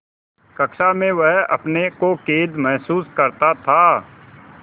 कक्षा में वह अपने को कैद महसूस करता था